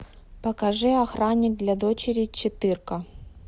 покажи охранник для дочери четыре ка